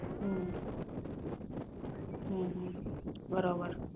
હમ બરોબર